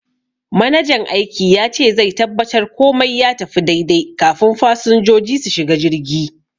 Manajan aiki yace zai tabbatar komai ya tafi daidai kafun fasinjoji su shiga jirgi.